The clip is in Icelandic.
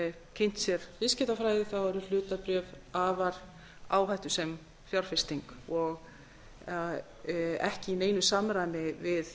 kynnt sér viðskiptafræði eru hlutabréf afar áhættusöm fjárfesting og ekki í neinu samræmi við